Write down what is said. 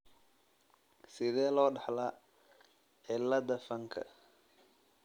Sidee loo dhaxlaa cilada fanka .